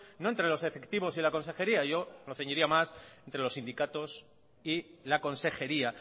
no entre los efectivos y la consejería yo me ceñiría más entre los sindicatos y la consejería